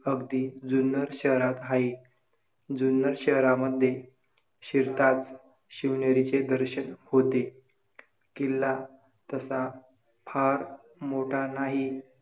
अगदी जुन्नर शहरात आहे. जुन्नर शहरामध्ये शिरतानाच शिवनेरीचे दर्शन होते. किल्ला तसा फार मोठा नाही.